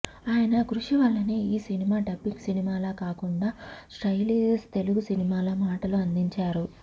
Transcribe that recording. ఆయన కృషివల్లనే ఈ సినిమా డబ్బింగ్ సినిమాలా కాకుండా స్ట్రెయిట్ తెలుగు సినిమాలా మాటలు అందించారు